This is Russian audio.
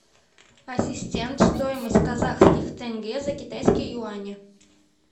ассистент стоимость казахских тенге за китайские юани